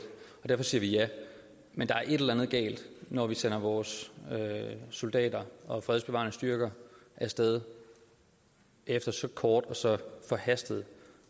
og derfor siger vi ja men der er et eller andet galt når vi sender vores soldater og fredsbevarende styrker af sted efter så kort og så forhastet